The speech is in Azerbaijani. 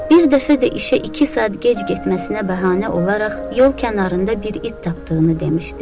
Bir dəfə də işə iki saat gec getməsinə bəhanə olaraq yol kənarında bir it tapdığını demişdi.